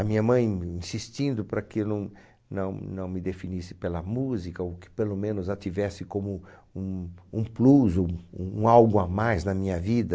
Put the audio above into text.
A minha mãe insistindo para que eu não não não me definisse pela música, ou que pelo menos a tivesse como um um plus, um um algo a mais na minha vida.